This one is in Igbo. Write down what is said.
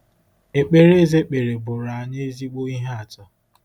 Ekpere Eze kpere bụụrụ anyị ezigbo ihe atụ